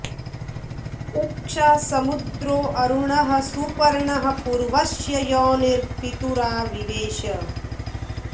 उ॒क्षा स॑मु॒द्रो अ॑रु॒णः सु॑प॒र्णः पूर्व॑स्य॒ योनिं॑ पि॒तुरा वि॑वेश